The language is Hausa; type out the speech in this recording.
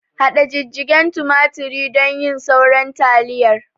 Haɗa jijjigen tumaturi don cin sauran taliyar